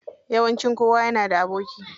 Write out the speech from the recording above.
Yawanci kowa yana da aboki.